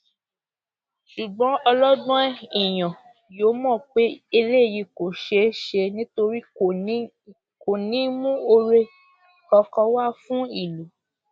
ṣùgbọn ọlọgbọn èèyàn yóò mọ pé eléyìí kò ṣeé ṣe nítorí kò ní í mú oore kankan wá fún ìlú